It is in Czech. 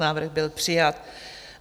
Návrh byl přijat.